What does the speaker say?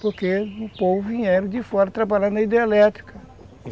Porque o povo vieram de fora trabalhar na hidroelétrica.